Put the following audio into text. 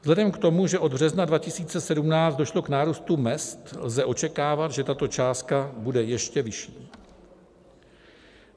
Vzhledem k tomu, že od března 2017 došlo k nárůstu mezd, lze očekávat, že tato částka bude ještě vyšší.